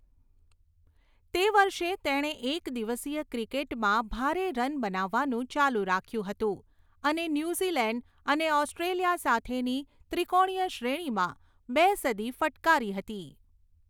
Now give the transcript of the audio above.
તે વર્ષે તેણે એક દિવસીય ક્રિકેટમાં ભારે રન બનાવવાનું ચાલુ રાખ્યું હતું, અને ન્યૂઝીલેન્ડ અને ઑસ્ટ્રેલિયા સાથેની ત્રિકોણીય શ્રેણીમાં બે સદી ફટકારી હતી.